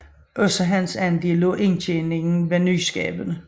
Også hans andel af indtjeningen var nyskabende